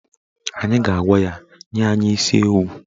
Anyị ga-agwa ya nye anyị isi ewu